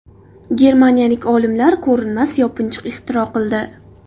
Germaniyalik olimlar ko‘rinmas yopinchiq ixtiro qildi.